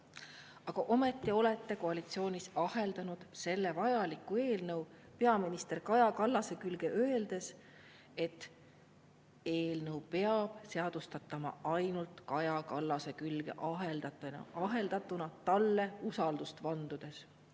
Aga ometi olete koalitsioonis aheldanud selle vajaliku eelnõu peaminister Kaja Kallase külge, öeldes, et eelnõu peab seadustama ainult Kaja Kallase külge aheldatuna talle usaldust vandudes.